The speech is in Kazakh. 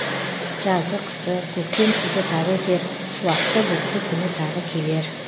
жазы қысы көктем күзі тағы өтер шуақты бұлтты күні тағы келер